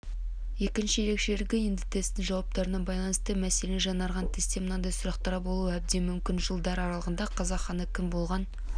екінші ерекшелігі енді тесттің жауаптарына байланысты мәселен жаңарған тестте мынадай сұрақтар болуы әбден мүмкін жылдар аралығында қазақ ханы кім болған